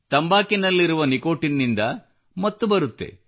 ತಂಬಾಕುವಿನಲ್ಲಿರುವ nicotine ನಿಂದ ಮತ್ತು ಬರುತ್ತದೆ